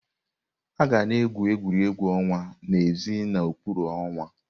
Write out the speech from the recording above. Aga na-egwu egwuregwu ọnwa n'èzí n'okpuru ọnwa.